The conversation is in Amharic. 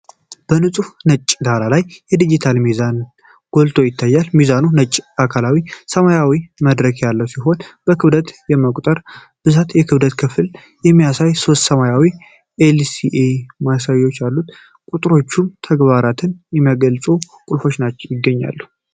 በንፁህ ነጭ ዳራ ላይ ዲጂታል የሚመዝን ሚዛን ጎልቶ ይታያል። ሚዛኑ ነጭ አካልና ሰማያዊ መድረክ ያለው ሲሆን፤ ክብደትን፣ የመቁጠር ብዛትና የክብደት ክፍልን የሚያሳይ ሦስት ሰማያዊ ኤል.ሲ.ዲ ማሳያዎች አሉት። ቁጥሮችንና ተግባራትን የሚያገለግሉ ቁልፎች ይገኛሉ።